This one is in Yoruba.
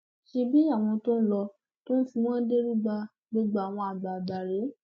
ṣebí àwọn tó n lọ tó ń fi wọn derúgbà gbogbo àwọn àgbààgbà rèé